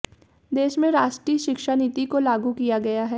देश में राष्ट्रीय शिक्षा नीति को लागू किया गया है